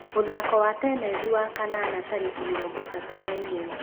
Muthako wa tenethi wakanana tarĩki mĩrongo ĩtatũ na ĩmwe